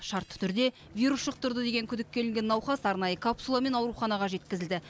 шартты түрде вирус жұқтырды деген күдікке ілінген науқас арнайы капсуламен ауруханаға жеткізілді